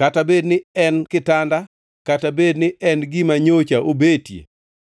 Kata bed ni en kitanda, kata bed ni en gima nyocha obete,